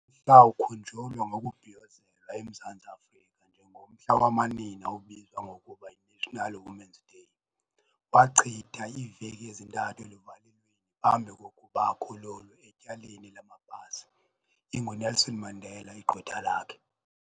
lawukhunjulwa ngokubhiyozelwa eMzantsi Afrika njengomhla wamanina obizwa ngokuba yiNational Women's Day. Wachitha iiveki ezintathu eluvalelweni phambi kokuba akhululwe etyaleni lamapasi, inguNelson Mandela igqwetha lakhe.